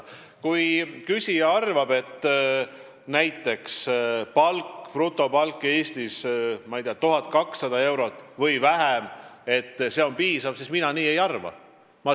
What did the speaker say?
Kui küsija arvab, et näiteks brutopalk 1200 eurot või vähem on Eestis piisav, siis mina nii ei arva.